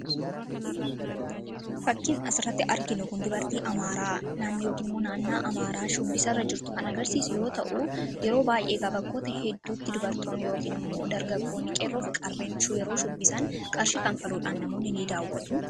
Fakkiin asiratti arginu kun dubartii Amaaraa naannoo yookiin immoo naanna'a Amaaraa shubbisarra jirtu kan agarsiisU yoo ta'u, yeroo baay'ee kan bakkoota hedduutti dubartoonni yookin immoo dargaggoonni qeerroo fi qarreen yeroo shubbisan qarshi kanfaluudhaan namoonni ni daawwatu.